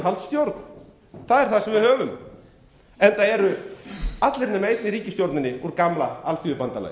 það er það sem við höfum enda eru allir nema einn í ríkisstjórninni úr gamla alþýðubandalaginu